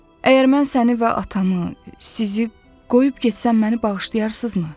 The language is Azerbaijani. Əgər mən səni və atamı, sizi qoyub getsəm məni bağışlayarsınızmı?